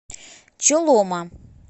чолома